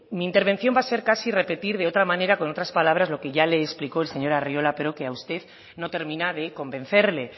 mi intervención va a ser casi repetir de otra manera con otras palabras lo que ya le explicó el señor arriola pero que a usted no termina de convencerle